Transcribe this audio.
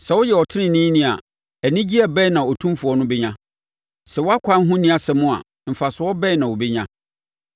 Sɛ woyɛ ɔteneneeni a, anigyeɛ bɛn na Otumfoɔ no bɛnya? Sɛ wʼakwan ho nni asɛm a, mfasoɔ bɛn na ɔbɛnya?